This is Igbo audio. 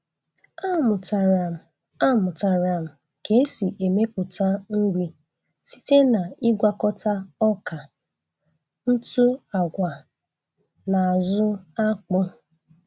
Amụtara m Amụtara m ka esi emepụta nri site na-ịgwakọta ọka, ntụ agwa, na azụ akpụ.